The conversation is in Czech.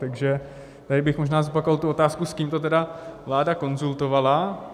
Takže tady bych možná zopakoval tu otázku, s kým to tedy vláda konzultovala.